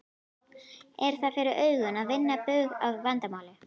Er það fyrir augum að vinna bug á þessu vandamáli?